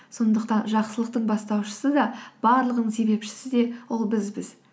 сондықтан жақсылықтың бастаушысы да барлығының себепшісі де ол бізбіз